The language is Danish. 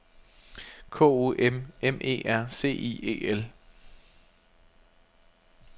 K O M M E R C I E L